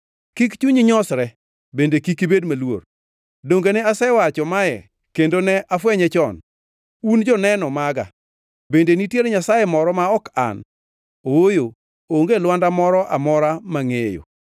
Kik chunyi nyosre bende kik ibed maluor. Donge ne asewacho mae kendo ne afwenye chon? Un joneno maga. Bende nitiere Nyasaye moro ma ok An? Ooyo, onge Lwanda moro amora mangʼeyo.”